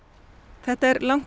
þetta er langt í